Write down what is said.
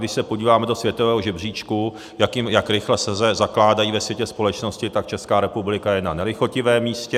Když se podíváme do světového žebříčku, jak rychle se zakládají ve světě společnosti, tak Česká republika je na nelichotivém místě.